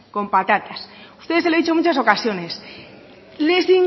con patatas ustedes se lo he dicho en muchas ocasiones